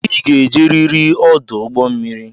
I ga-eje riri ọdụ ụgbọ mmiri!